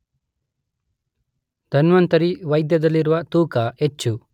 ಧನ್ವಂತರಿ ವೈದ್ಯದಲ್ಲಿರುವ ತೂಕ ಹೆಚ್ಚು